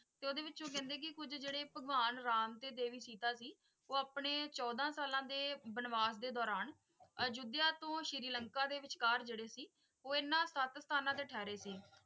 ਤੇ ਓਹਦੇ ਵਿਚ ਕਹਿੰਦੇ ਕੁਛ ਜੇੜੇ ਭਗਵਾਨ ਰਾਮ ਤੇ ਦੇਵੀ ਸੀਤਾ ਸੀ ਉਹ ਆਪਣੇ ਚੋਦਾ ਸਾਲਾਂ ਦੇ ਵਣਵਾਸ ਦੇ ਦੌਰਾਨ ਅਯੋਧਿਆ ਤੋਂ ਸ਼੍ਰੀ ਲੰਕਾ ਦੇ ਵਿਚਕਾਰ ਜੇੜੇ ਸੀ ਉਹ ਹਨ ਸਤ ਸਥਾਨਾਂ ਤੇ ਠਹਿਰੇ ਸੀ ।